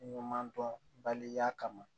Ɲuman dɔn baliya kama